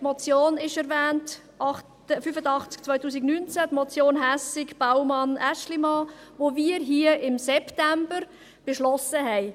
Die Motion 085-2019 wurde erwähnt, die Motion Hässig/Baumann/ Aeschlimann, die wir im September beschlossen haben.